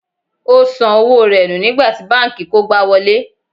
O san owó rẹ̀ nù nígbà tí banki kógbá wọlé.